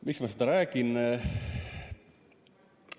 Miks ma seda räägin?